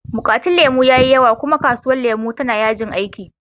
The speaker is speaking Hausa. Bukatun lemu ya yi yawa, kuma kasuwar lemu tana yajin aiki.